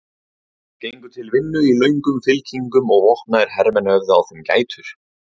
Þeir gengu til vinnu í löngum fylkingum og vopnaðir hermenn höfðu á þeim gætur.